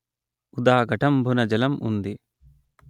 దా ఘటంబున జలం ఉంది